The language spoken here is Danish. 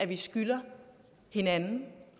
vi skylder hinanden